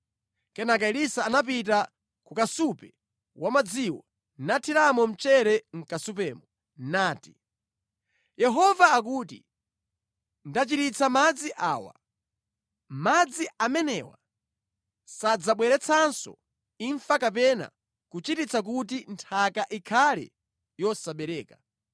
Kenaka Elisa anapita ku kasupe wa madziwo, nathiramo mchere mʼkasupemo nati, “Yehova akuti, ‘Ndachiritsa madzi awa. Madzi amenewa sadzabweretsanso imfa kapena kuchititsa kuti nthaka ikhale yosabereka.’ ”